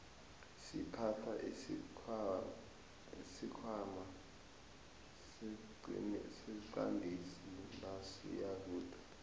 siphatha isikhwana siqandisi nasiyakude